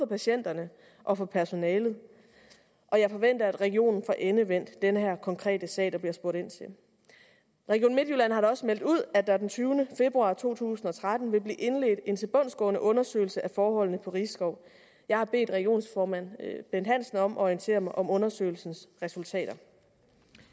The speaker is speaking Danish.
patienterne og for personalet og jeg forventer at regionen får endevendt den her konkrete sag der bliver spurgt ind til region midtjylland har da også meldt ud at der den tyvende februar to tusind og tretten vil blive indledt en tilbundsgående undersøgelse af forholdene på risskov jeg har bedt regionsformand bent hansen om at orientere mig om undersøgelsens resultater